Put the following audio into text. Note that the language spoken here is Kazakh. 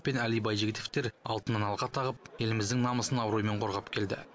пен әли байжігітовтер алтыннан алқа тағып еліміздің намысын абыроймен қорғап келді